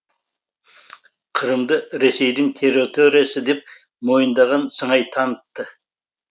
қырымды ресейдің территориясы деп мойындаған сыңай танытты